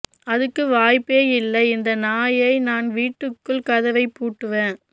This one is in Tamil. அதுக்கு வாய்ப்பே இல்லை இந்த நாயை நான் வீட்டுக்குள் கதவைப் பூட்டி வ